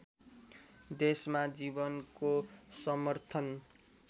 देशमा जीवनको समर्थन